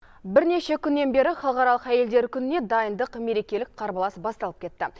бірнеше күннен бері халықаралық әйелдер күніне дайындық мерекелік қарбалас басталып кетті